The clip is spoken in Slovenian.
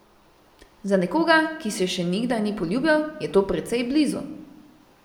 Za nekoga, ki se še nikdar ni poljubljal, je to precej blizu.